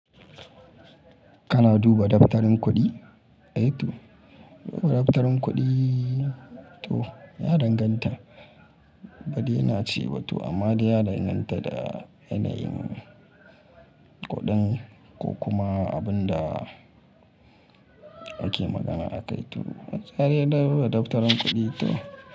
Kana duba daftarin kuɗi? Ai to da ma daftarin kuɗi to ya danganta ba dai na ce ba to amma dai ya danganta da yanayin kuɗin ko kuma abun da ake magana akai to. Haryar duba daftarin kuɗi to.